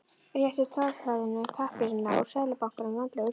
Rétti tollverðinum pappírana úr Seðlabankanum, vandlega útfyllta.